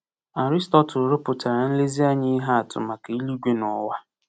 Aristotle rụpụtara nlezianya ihe atụ maka eluigwe na ụwa.